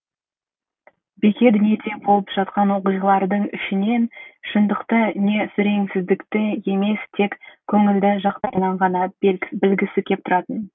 бике дүниеде болып жатқан оқиғалардың ішінен шындықты не сүреңсіздікті емес тек көңілді жақтарын ғана білгісі кеп тұратын